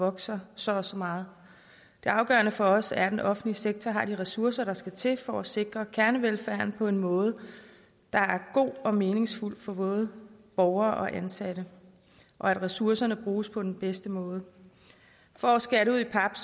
vokser så og så meget det afgørende for os er at den offentlige sektor har de ressourcer der skal til for at sikre kernevelfærden på en måde der er god og meningsfuld for både borgere og ansatte og at ressourcerne bruges på den bedste måde for at skære det ud i pap